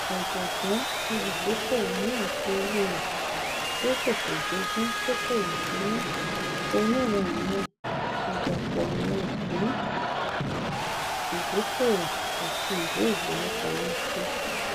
ọjọgbọn olùdókòwò náà fi owó rẹ tí ó ṣẹṣẹ jogún dókòwò sínú onírànran ìdàpọ àwọn ìpín ìdókòwò àti ìwé ìfowópamọsí